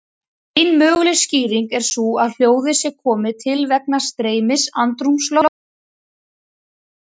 Ein möguleg skýring er sú að hljóðið sé komið til vegna streymis andrúmslofts um kuðunginn.